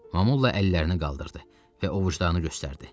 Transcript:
Momulla əllərini qaldırdı və ovucdanıını göstərdi.